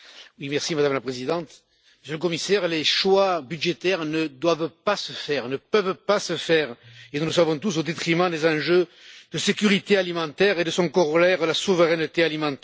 Madame la Présidente, Monsieur le Commissaire, les choix budgétaires ne doivent pas se faire, ne peuvent pas se faire et nous le savons tous au détriment des enjeux de sécurité alimentaire et de son corollaire, la souveraineté alimentaire.